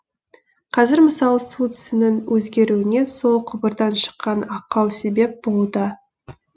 қазір мысалы су түсінің өзгеруіне сол құбырдан шыққан ақау себеп болуда